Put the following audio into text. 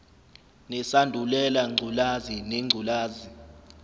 nesandulela ngculazi nengculazi